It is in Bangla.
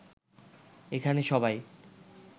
এখানে সবাই